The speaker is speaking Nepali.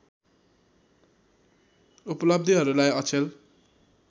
उपलब्धिहरूलाई अचेल